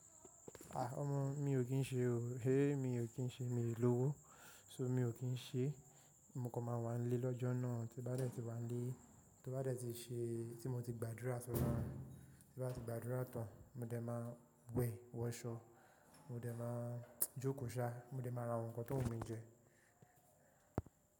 Ah! Ọmọ mi ò kí ń ṣe o, hé! Mi ò kí ń ṣe, mi ò lówó, so mi ò kí ń ṣe. Mo kan máa wá nlé lọ́jọ́ náà, tí bá dẹ́ ti wá nlé, tí ó bá dẹ́ ti ṣe, tí mo ti gbàdúrà tán, tí bá ti gbàdúrà tán, mo dẹ má wẹ̀ wọṣọ, mo dẹ má jókòó ṣá, mo dẹ má ra àwọn nǹkan tó wù mí jẹ.